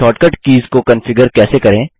shortcut keys को configure कैसे करें